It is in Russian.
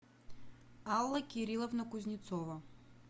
алла кирилловна кузнецова